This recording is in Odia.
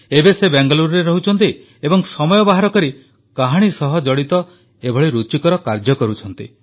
ଏବେ ସେ ବାଙ୍ଗାଲୁରୁରେ ରହୁଛନ୍ତି ଏବଂ ସମୟ ବାହାର କରି କାହାଣୀ ସହ ଜଡ଼ିତ ଏଭଳି ରୁଚିକର କାର୍ଯ୍ୟ କରୁଛନ୍ତି